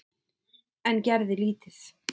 En gerði lítið.